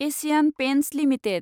Asian paints limited